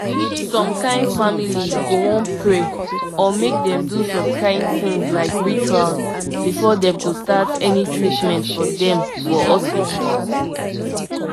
omo na better tin when hospital workers dey yarn treatment mater easy for you to understand wella mk dem con still join respect.